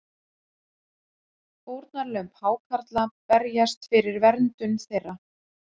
Fórnarlömb hákarla berjast fyrir verndun þeirra